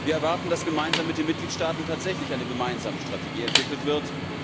Wir erwarten, dass gemeinsam mit den Mitgliedstaaten tatsächlich eine gemeinsame Strategie entwickelt wird.